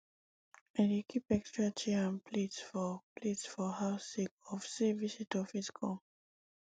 i dey keep extra chair and plate for plate for house sake of sey visitor fit come